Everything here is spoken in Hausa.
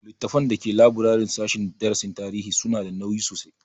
Littafan da ke laburaren sashen darasin tarihi su na da nauyi sosai